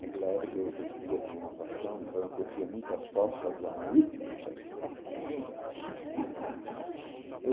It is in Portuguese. Naquela época eu curtia, tinha uma paixão, então eu curtia muito as forças da maíza.